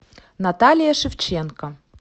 наталья шевченко